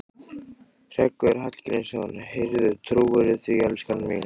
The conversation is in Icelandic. Hreggviður Hallgrímsson: Heyrðu, trúirðu því, elskan mín?